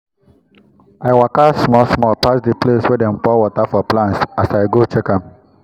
i waka small small pass the place wey them dey pour water for plants as i go check am.